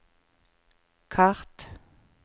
kart